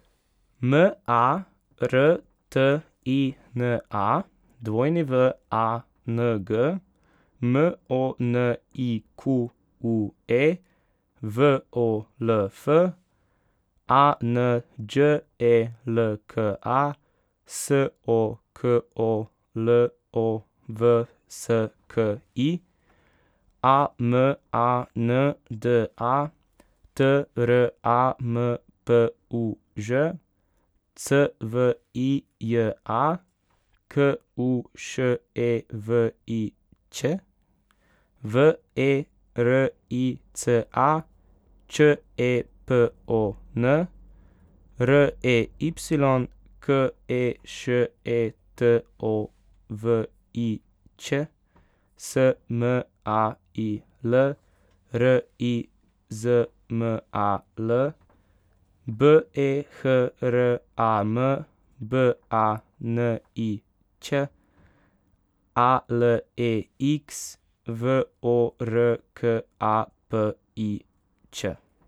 M A R T I N A, W A N G; M O N I Q U E, V O L F; A N Đ E L K A, S O K O L O V S K I; A M A N D A, T R A M P U Ž; C V I J A, K U Š E V I Ć; V E R I C A, Č E P O N; R E Y, K E Š E T O V I Ć; S M A I L, R I Z M A L; B E H R A M, B A N I Ć; A L E X, V O R K A P I Ć.